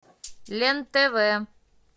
лен тв